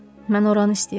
Mən oranı istəyirəm.